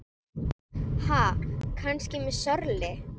Ha, kannski með slöri?